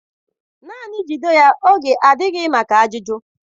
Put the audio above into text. Naanị jide ya oge adịghị maka ajụjụ?